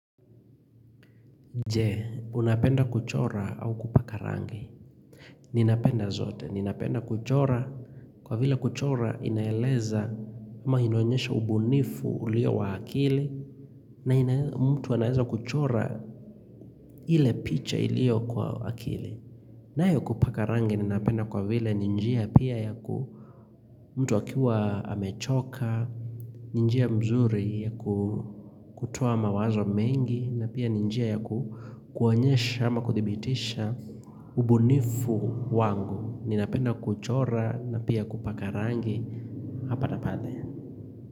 Jee, unapenda kuchora au kupaka rangi Ninapenda zote ninapenda kuchora kwa vile kuchora inaeleza ama inaonyesha ubunifu ulio wa akili na mtu anaeza kuchora ile picha iliyo kwa akili. Nayo kupaka rangi ninapenda kwa vile ni njia pia yaku mtu akiwa amechoka ni njia mzuri ya ku kutoa mawazo mengi na pia ni njia ya kuonyesha ama kuthibitisha ubunifu wangu. Ninapenda kuchora na pia kupaka rangi Hapa na pale.